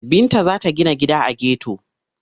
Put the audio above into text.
Binta za ta gina gida a geto.